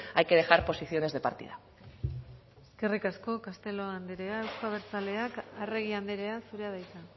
hay que dejar posiciones de partida eskerrik asko castelo andrea euzko abertzaleak arregi andrea zurea da hitza